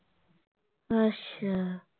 ਅੱਛਾ